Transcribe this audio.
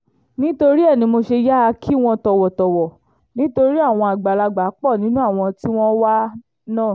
nítorí ẹ ní mo ṣe yáa kí wọ́n tọ̀wọ̀tọ̀wọ̀ nítorí àwọn àgbàlagbà pọ̀ nínú àwọn tí wọ́n wà náà